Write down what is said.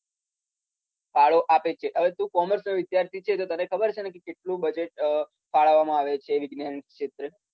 ફાળો આપે છે. હવે તુ કોમર્સનો વિદ્યાર્થી છે તો તને ખબર છે ને કે કેટલુ બજેટ ફાળવવામાં આવે છે વિજ્ઞાન ક્ષેત્રે.